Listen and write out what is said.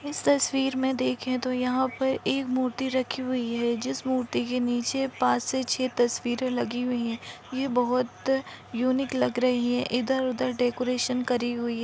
इस तस्वीर मे देखे तो यहा पर एक मूर्ति रखी हुई है जिस मूर्ति के नीचे पाँच से छह तस्वीरे लगी हुई है ये बहुत युनीक लग रही है इधर उधर डेकोरेशन करी हुई--